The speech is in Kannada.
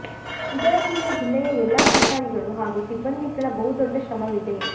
ಇದರ ಹಿಂದೆ ಜಿಲ್ಲೆಯ ಎಲ್ಲ ಅಧಿಕಾರಿಗಳು ಹಾಗೂ ಸಿಬಂದಿಗಳ ಬಹುದೊಡ್ಡ ಶ್ರಮವಿದೆ